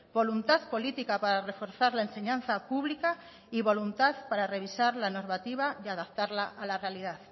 voluntad política para reforzar la enseñanza pública y voluntad para revisar la normativa y adaptarla a la realidad